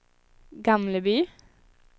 Gamleby